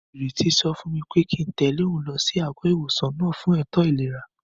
Ìrètí sọ fún mi pé kíi n tẹ̀lé òun lọ sí àgọ́-ìwòsàn náà fún ètò ìlera